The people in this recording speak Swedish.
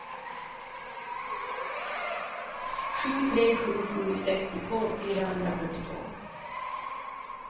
sju tre sju sju sextiotvå fyrahundrafyrtiotvå